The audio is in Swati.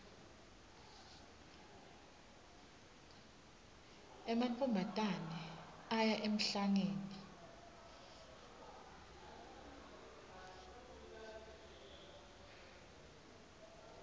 emantfombatane aya emhlangeni